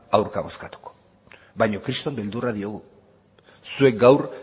aurka bozkatuko baina kriston beldurra diogu zuek gaur